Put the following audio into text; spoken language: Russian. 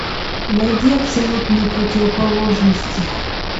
найди абсолютные противоположности